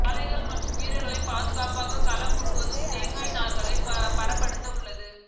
காளைகள் மற்றும் வீரர்களின் பாதுகாப்புக்காக களம் முழுவதும் தேங்காய் நார்கள் பரப்பபட்டு உள்ளது